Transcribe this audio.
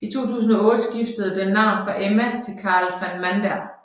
I 2008 skiftede den navn fra Emma til Karel van Mander